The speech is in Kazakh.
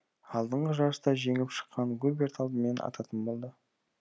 алдыңғы жарыста жеңіп шыққан губерт алдымен ататын болды